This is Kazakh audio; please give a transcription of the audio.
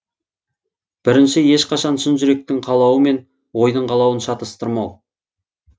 бірінші ешқашан шын жүректің қалауы мен ойдың қалауын шатастырмау